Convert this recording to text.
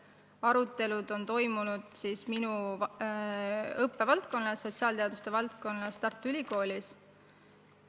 Arutelud on toimunud minu õppevaldkonnas, sotsiaalteaduste valdkonnas Tartu Ülikoolis.